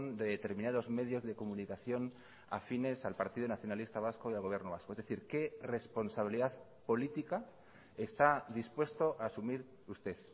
de determinados medios de comunicación afines al partido nacionalista vasco y al gobierno vasco es decir qué responsabilidad política está dispuesto a asumir usted